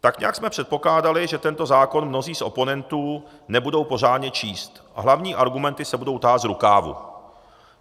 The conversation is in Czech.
Tak nějak jsme předpokládali, že tento zákon mnozí z oponentů nebudou pořádně číst a hlavní argumenty se budou tahat z rukávu.